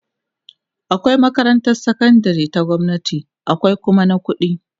akwai makarantan sakandari ta gwamnati akwai Kuma na ƙuɗi